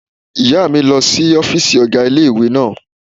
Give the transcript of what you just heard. Ìyá mi lọ sí ọ́fìsì ọ̀gá ilé-ìwé náà